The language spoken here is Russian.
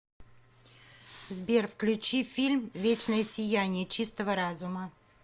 сбер включи фильм вечное сияние чистого разума